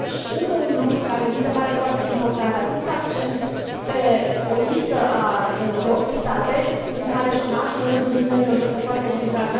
Încă un lucru care mi se pare foarte important ați pus accent pe o listă de 8 state în care șomajul în rândul tinerilor este foarte ridicat.